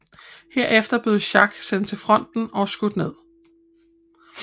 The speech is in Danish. Herefter bliver Jacques sendt til fronten og skudt ned